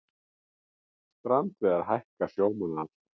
Strandveiðar hækka sjómannaafslátt